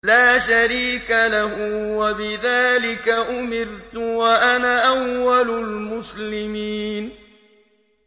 لَا شَرِيكَ لَهُ ۖ وَبِذَٰلِكَ أُمِرْتُ وَأَنَا أَوَّلُ الْمُسْلِمِينَ